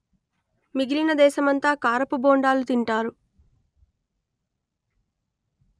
మిగిలిన దేశమంతా కారపు బోండాలు తింటారు